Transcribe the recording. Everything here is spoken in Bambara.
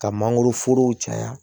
Ka mangoroforow caya